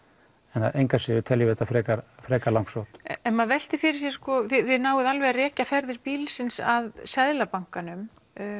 engu að síður teljum við það frekar frekar langsótt ef maður veltir fyrir sér sko þið náið alveg að rekja ferðir bílsins að Seðlabankanum